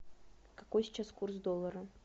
какой сейчас курс доллара